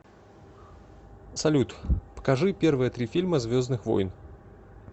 салют покажи первые три фильма звездных войн